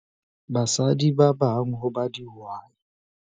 basadi ba bang ho ba dihwai.